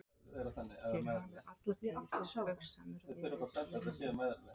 Þér hafið alla tíð spaugsamur verið Jón minn.